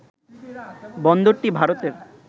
বন্দরটি ভারতের